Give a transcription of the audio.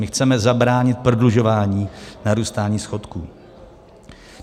My chceme zabránit prodlužování narůstání schodku.